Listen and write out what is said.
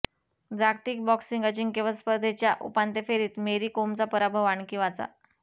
जागतिक बॉक्सिंग अजिंक्यपद स्पर्धेच्या उपांत्यफेरीत मेरी कोमचा पराभव आणखी वाचा